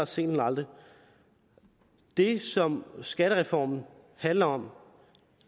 sent end aldrig det som skattereformen handler om